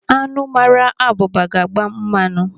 Anụ mmara abụba ga-agba mmanụ.